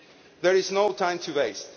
There is no time to waste.